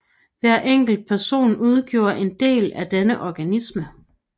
Hver enkelt person udgjorde en del af denne organisme